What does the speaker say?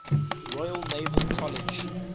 royal naval college